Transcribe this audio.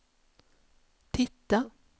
titta